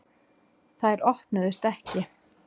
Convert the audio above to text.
Þær opnuðust ekki.